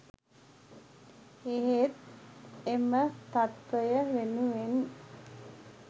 එහෙත් එම තත්ත්වය වෙනුවෙන්